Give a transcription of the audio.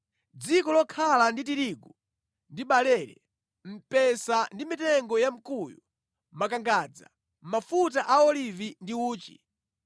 dziko lokhala ndi tirigu ndi barele, mpesa ndi mitengo ya mkuyu, makangadza, mafuta a olivi ndi uchi;